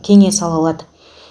кеңес ала алады